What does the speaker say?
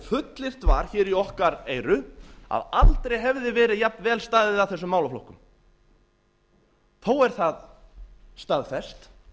fullyrt var hér í okkar eyru að aldrei hefði verið jafnvel staðið að þessum málaflokkum þó er það staðfest